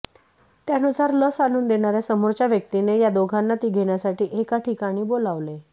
त्यानुसार लस आणून देणाऱ्या समोरच्या व्यक्तीने या दोघांना ती घेण्यासाठी एका ठिकाणी बोलावले